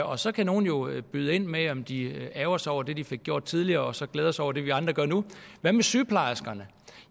og så kan nogle jo byde ind med om de ærgrer sig over det de fik gjort tidligere og så glæde sig over det vi andre gør nu hvad med sygeplejerskerne